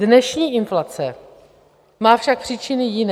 Dnešní inflace má však příčiny jiné.